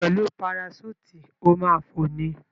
Pẹ̀lú paraṣúùtì, o ma ma fò ni.